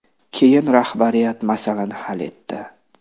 Keyin rahbariyat masalani hal etdi.